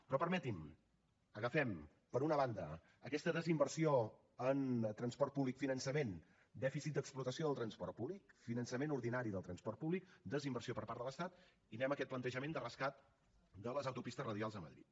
però permetin m’ho agafem per una banda aquesta desinversió en transport públic finançament dèficit d’explotació del transport públic finançament ordinari del transport públic desinversió per part de l’estat i anem a aquest plantejament de rescat de les autopistes radials a madrid